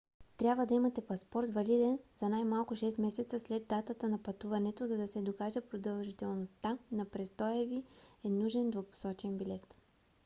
трябва да имате паспорт валиден за най-малко 6 месеца след датата на пътуването. за да се докаже продължителността на престоя ви е нужен двупосочен билет